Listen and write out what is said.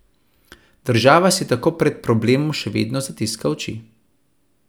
Država si tako pred problemom še vedno zatiska oči.